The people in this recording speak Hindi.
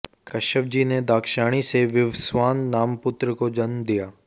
कश्यपजी ने दाक्षायणी से विवस्वान नाम पुत्र को जन्म दिया